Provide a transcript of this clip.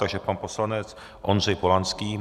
Takže pan poslanec Ondřej Polanský.